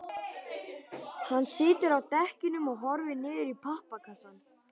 Hann situr á dekkjunum og horfir niður í pappakassann.